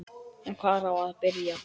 En hvar á að byrja?